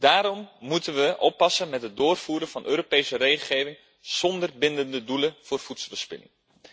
Daarom moeten we oppassen met het doorvoeren van Europese regelgeving zonder bindende doelen voor voedselverspilling.